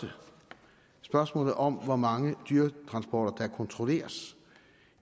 spørgsmålet om hvor mange dyretransporter der kontrolleres